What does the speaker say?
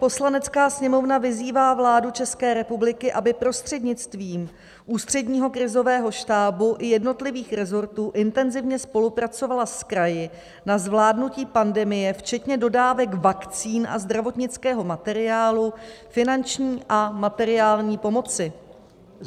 Poslanecká sněmovna vyzývá vládu České republiky, aby prostřednictvím Ústředního krizového štábu i jednotlivých resortů intenzivně spolupracovala s kraji na zvládnutí pandemie včetně dodávek vakcín a zdravotnického materiálu, finanční a materiální pomoci."